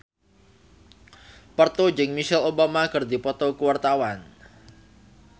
Parto jeung Michelle Obama keur dipoto ku wartawan